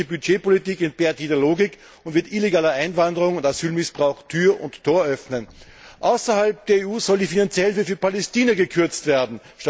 Eine solche Budgetpolitik entbehrt jeder Logik und wird illegaler Einwanderung und Asylmissbrauch Tür und Tor öffnen. Außerhalb der EU soll die finanzielle Hilfe für Palästina gekürzt werden.